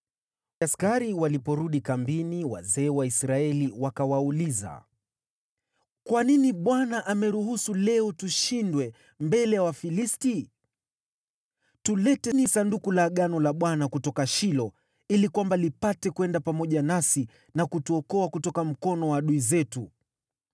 Askari waliporudi kambini, wazee wa Israeli wakawauliza, “Kwa nini Bwana ameruhusu leo tushindwe mbele ya Wafilisti? Tuleteni Sanduku la Agano la Bwana kutoka Shilo, ili lipate kwenda pamoja nasi, na kutuokoa kutoka mikono ya adui zetu.”